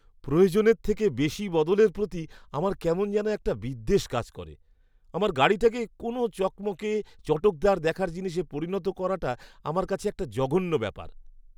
প্রয়োজনের থেকে বেশি বদলের প্রতি আমার কেমন জানি একটা বিদ্বেষ কাজ করে। আমার গাড়িটাকে কোনও চকমকে, চটকদার দেখার জিনিসে পরিণত করাটা আমার কাছে একটা জঘন্য ব্যাপার।